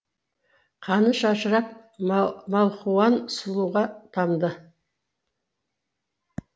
қаны шашырап малхуан сұлуға тамды